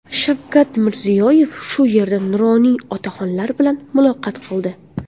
Shavkat Mirziyoyev shu yerda nuroniy otaxonlar bilan muloqot qildi.